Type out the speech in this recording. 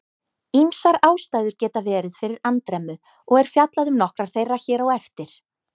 Ýmsar ástæður geta verið fyrir andremmu og er fjallað um nokkrar þeirra hér á eftir.